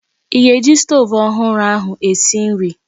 I ga-eji stoovu ọhụrụ ahụ esi nri?